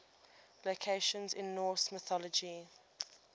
locations in norse mythology